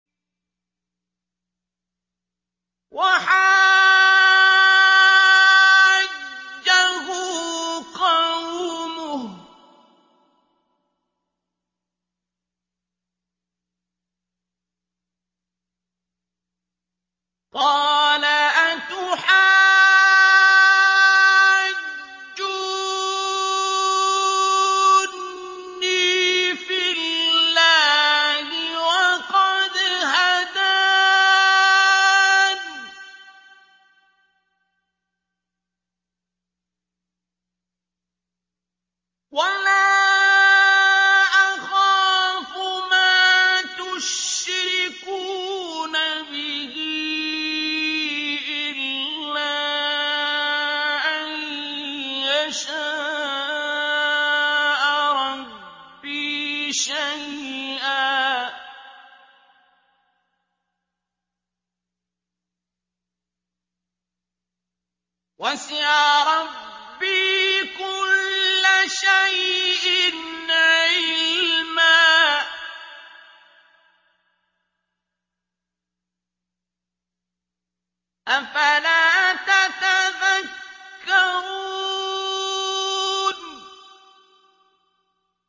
وَحَاجَّهُ قَوْمُهُ ۚ قَالَ أَتُحَاجُّونِّي فِي اللَّهِ وَقَدْ هَدَانِ ۚ وَلَا أَخَافُ مَا تُشْرِكُونَ بِهِ إِلَّا أَن يَشَاءَ رَبِّي شَيْئًا ۗ وَسِعَ رَبِّي كُلَّ شَيْءٍ عِلْمًا ۗ أَفَلَا تَتَذَكَّرُونَ